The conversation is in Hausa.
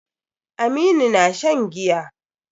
Aminu na shan giya.